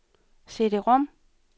CD-rom